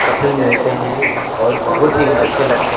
कपड़े मिलते हैं और बहुत ही अच्छे लगते--